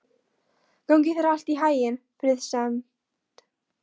Gangi þér allt í haginn, Friðsemd.